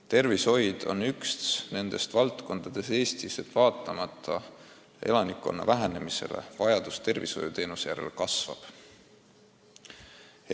Tervishoid on üks nendest valdkondadest Eestis, kus vaatamata elanikkonna vähenemisele vajadus teenuste järele kasvab.